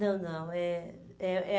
Não, não. É é a